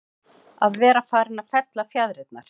Að vera farinn að fella fjaðrirnar